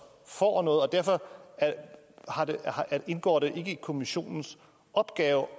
får noget og derfor indgår det ikke som kommissionens opgave